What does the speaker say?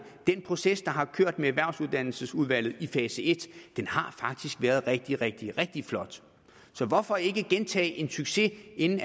den proces der har kørt med erhvervsuddannelsesudvalget i fase i har faktisk været rigtig rigtig rigtig flot så hvorfor ikke gentage en succes inden